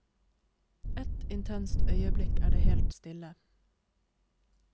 Ett intenst øyeblikk er det helt stille.